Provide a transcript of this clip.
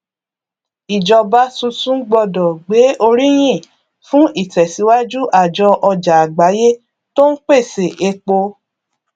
ìjọba tuntun gbọdọ gbé oríyìn fún ìtẹsíwájú àjọ ọjà àgbáyé tó n pèsè epo